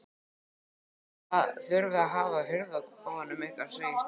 Þið þurfið að hafa hurð á kofanum ykkar segir Steini.